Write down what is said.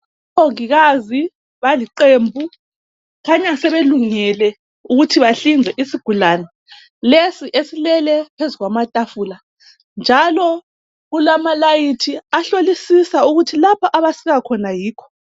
Omongikazi baliqembu khanya sebelungele ukuthi bahlinze isigulane lesi eslele phezu kwamatafula njalo kulamalayithi ahlolisisa ukuthi lapho abasika khona yikho